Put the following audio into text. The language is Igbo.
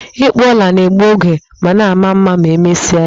Ịkpụ ọla na-egbu oge, mana maa mma ma emesia ya